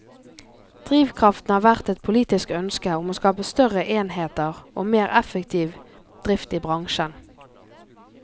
Drivkraften har vært et politisk ønske om å skape større enheter og mer effektiv drift i bransjen.